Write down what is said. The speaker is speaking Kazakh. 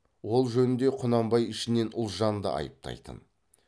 ол жөнде құнанбай ішінен ұлжанды айыптайтын